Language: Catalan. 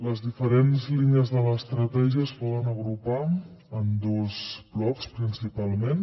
les diferents línies de l’estratègia es poden agrupar en dos blocs principalment